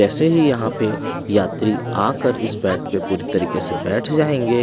ऐसे ही यहां पे यात्री आकर इस बेड पे पूरी तरीके से बैठ जाएंगे।